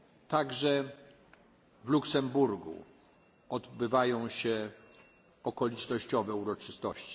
Także w Luksemburgu odbywają się okolicznościowe uroczystości.